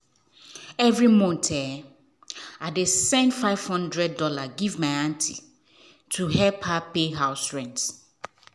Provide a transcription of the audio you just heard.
every month i dey send five hundred dollars give my aunty to help her pay house rent.